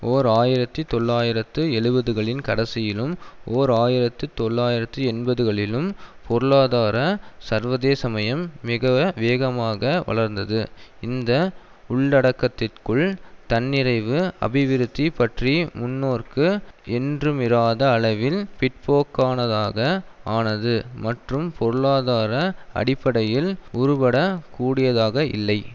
ஓர் ஆயிரத்தி தொள்ளாயிரத்து எழுபதுகளின் கடைசியிலும் ஓர் ஆயிரத்தி தொள்ளாயிரத்து எண்பதுகளிலும் பொருளாதார சர்வதேசமயம் மிக வேகமாக வளர்ந்தது இந்த உள்ளடக்கத்திற்குள் தன்னிறைவு அபிவிருத்தி பற்றிய முன்னோக்கு என்றுமிராத அளவில் பிற்போக்கானதாக ஆனது மற்றும் பொருளாதார அடிப்படையில் உருபடக் கூடியதாக இல்லை